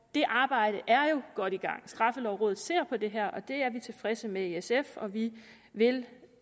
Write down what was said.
det arbejde er jo godt i gang straffelovrådet ser på det her og det er vi tilfredse med i sf og vi vil